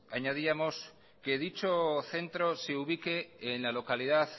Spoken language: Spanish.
añadíamos que dicho centro se ubique en la localidad